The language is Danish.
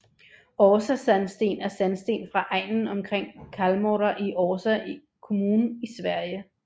Orsasandsten er sandsten fra egnen omkring Kallmora i Orsa kommun i Sverige